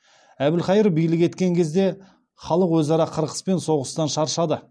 әбілхайыр билік еткен кезде халық өзара қырқыс пен соғыстан шаршады